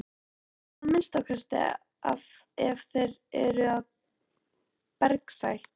Já að minnsta kosti ef þeir eru af bergsætt.